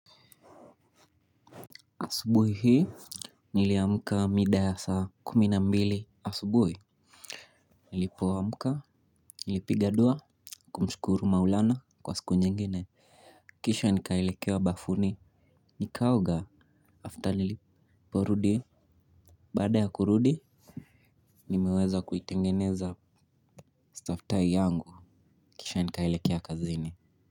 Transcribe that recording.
Asubuhi hii niliamka mida ya saa kumi na mbili asubuhi. Nilipoamka nilipiga dua kumshukuru maulana kwa siku nyingine. Kisha nikaelekea bafuni nikaoga after nilipo rudi. Baada ya kurudi nimeweza kuitengeneza stafthai yangu kisha nikaelekea kazini.